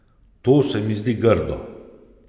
To se mi zdi grdo.